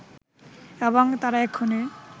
এবং তারা এক্ষুণি